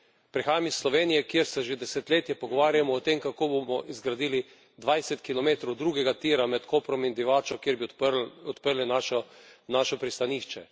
Prihajam iz Slovenije, kjer se že desetletje pogovarjamo o tem, kako bomo zgradili 20 km drugega tira med Koprom in Divačo, kjer bi odprli naše pristanišče.